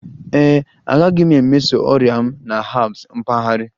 Ee e, agaghị m emeso ọrịa m na herbs mpaghara